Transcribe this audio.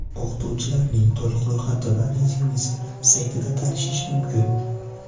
O‘qituvchilarning to‘liq ro‘yxati va rezyumesi bilan saytida tanishish mumkin.